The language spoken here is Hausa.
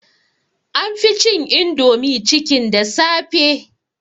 An fi cin indomie chicken da safe